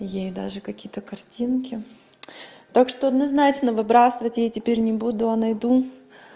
ей даже какие-то картинки так что однозначно выбрасывать я теперь не буду а найду